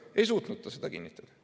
Ei suutnud ta seda kinnitada.